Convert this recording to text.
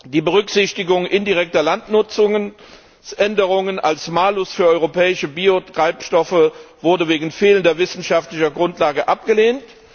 Die Berücksichtigung indirekter Landnutzungsänderungen als Malus für europäische Biotreibstoffe wurde wegen fehlender wissenschaftlicher Grundlage abgelehnt.